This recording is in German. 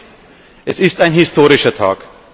Es ist ein historischer Tag.